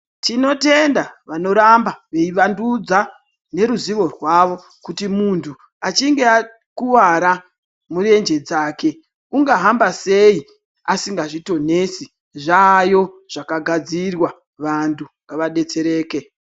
Tinotenda vanoramba veivandudza neruzivo rwavo kuti muntu achinge akuwara murenje dzake unga hamba sei asingazvitonesi zvaayo zvakagadzirwa vantu ngavadetsereke.